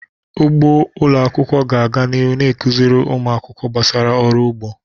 Ugbo ụlọ akwụkwọ ga-aga n'ihu na-akụziri ụmụ akwụkwọ gbasara ọrụ ugbo.